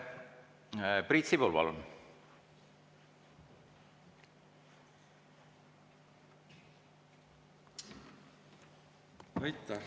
Priit Sibul, palun!